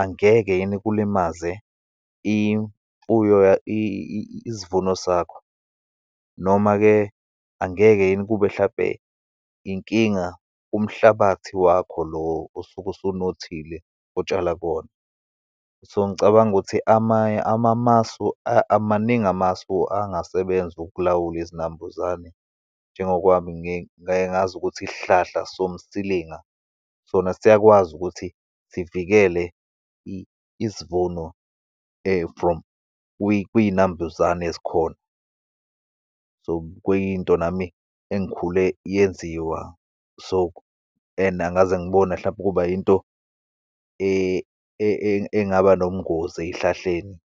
angeke yini kulimaze imfuyo, isivuno sakho, noma-ke angeke yini kube hlampe inkinga kumhlabathi wakho lo osuke osunothile otshala kuwona. So, ngicabanga ukuthi amasu, maningi amasu angasebenza ukulawula izinambuzane, njengokwami ngi ngayengazi ukuthi isihlahla somsilinga sona siyakwazi ukuthi sivikele isivuno from kwiy'nambuzane eyikhona. So, kuyinto nami engikhule yenziwa, so and angikaze ngibone, hlampe ukuba into engaba nobungozi eyihlahleni.